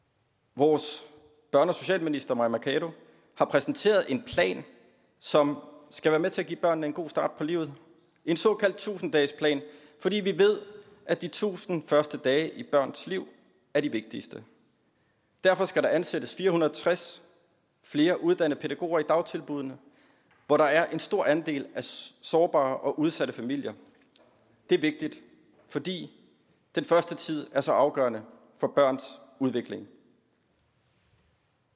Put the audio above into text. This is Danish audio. vores børne og socialminister mai mercado har præsenteret en plan som skal være med til at give børnene en god start på livet en såkaldt tusind dagesplan fordi vi ved at de tusind første dage i et barns liv er de vigtigste derfor skal der ansættes fire hundrede og tres flere uddannede pædagoger i dagtilbuddene hvor der er en stor andel af sårbare og udsatte familier det er vigtigt fordi den første tid er så afgørende for børns udvikling